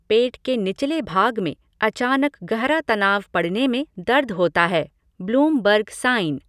पेट के निचले भाग में अचानक गहरा तनाव पड़ने में दर्द होता है, ब्लूमबर्ग साइन।